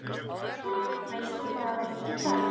Veistu hvað það var heitt í dag?